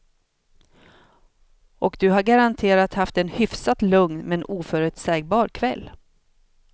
Och du har garanterat haft en hyfsat lugn men oförutsägbar kväll.